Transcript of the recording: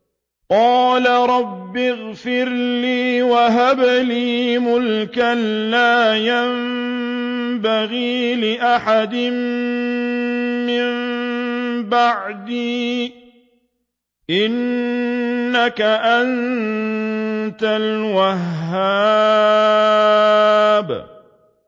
قَالَ رَبِّ اغْفِرْ لِي وَهَبْ لِي مُلْكًا لَّا يَنبَغِي لِأَحَدٍ مِّن بَعْدِي ۖ إِنَّكَ أَنتَ الْوَهَّابُ